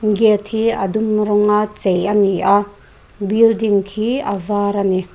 gate hi a dum rawnga chei ani a building khi a var ani.